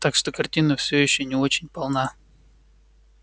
так что картина все ещё не очень полна